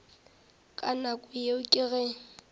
ka nako yeo ke ge